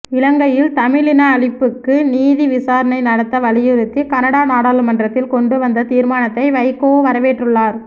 இலங்கையில் தமிழ் இன அழிப்புக்கு நீதி விசாரணை நடத்த வலியுறுத்தி கனடா நாடாளுமன்றத்தில் கொண்டு வந்த தீர்மானத்தை வைகோ வரவேற்றுள்ளார்